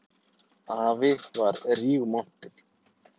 Afi var rígmontinn.